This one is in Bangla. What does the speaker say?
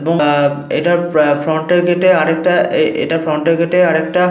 এবং আহ এটার ফ্রন্ট এর গেটে আর একটা এ এটার ফ্রন্ট -এর গেটে আর একটা।